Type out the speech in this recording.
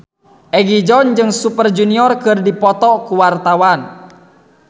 Egi John jeung Super Junior keur dipoto ku wartawan